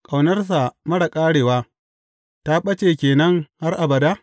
Ƙaunarsa marar ƙarewa ta ɓace ke nan har abada?